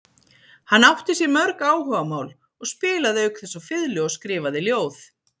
Hann átti sér mörg áhugamál og spilaði auk þess á fiðlu og skrifaði ljóð.